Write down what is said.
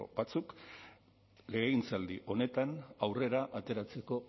batzuk legegintzaldi honetan aurrera ateratzeko